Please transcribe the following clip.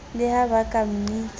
le ha ba ka mmitsa